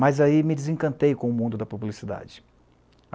Mas aí me desencantei com o mundo da publicidade.